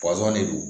pasɔn de don